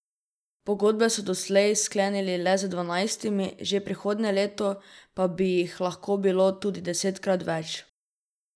Pogodbe so doslej sklenili le z dvanajstimi, že prihodnje leto pa bi jih lahko bilo tudi desetkrat več.